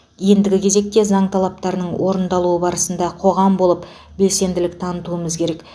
ендігі кезекте заң талаптарының орындалуы барысында қоғам болып белсенділік танытуымыз керек